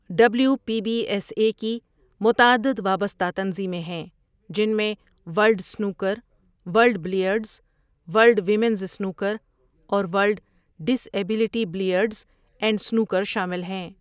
W P B S A کی متعدد وابستہ تنظیمیں ہیں، جن میں world snooker, world billiards, world women's snooker, اور world disability billiards and snooker شامل ہیں۔